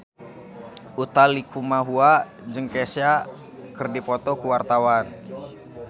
Utha Likumahua jeung Kesha keur dipoto ku wartawan